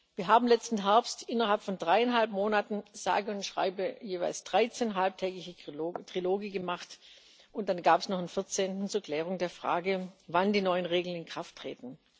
Wir haben letzten Herbst innerhalb von dreieinhalb Monaten sage und schreibe jeweils 13 halbtägige Triloge gemacht, und dann gab es noch einen vierzehnten zur Klärung der Frage, wann die neuen Regeln in Kraft treten.